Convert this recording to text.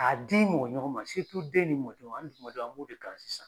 A di mɔgɔ ɲɔgɔn ma den ni mɔdenw hali juma on, an b'o de kan sisan.